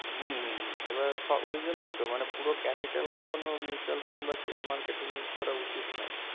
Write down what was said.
হুম hmm hmm এবার সব ওই জন্যই তো মানে পুরো capital কখনো mutual fund বা share market এ use করা উচিত নয়